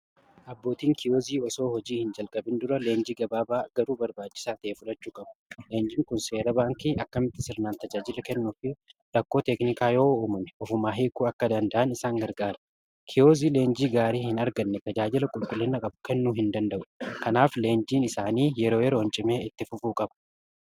abbootiin kiyoozii osoo hojii hin jalgabin dura leenjii gabaabaa garuu barbaajisaa tae fulachu qabu leenjiin kun seera baankii akkamitti sirnaan tajaajila kennuufi rakkoo teeknikaa yoo uumume ofumaa heekuu akka danda'an isaan gargaara kiyoozii leenjii gaarii hin arganne tajaajila qulqullinnaa qabu kennuu hin danda'u kanaaf leenjiin isaanii yeroo yeroohn cimee itti fufuu qabu